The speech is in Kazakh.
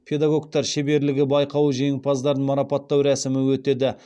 педагогтар шеберлігі байқауы жеңімпаздарын марапаттау рәсімі өтеді